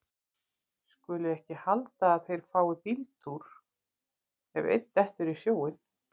Skulu ekki halda að þeir fái bíltúr ef einn dettur í sjóinn.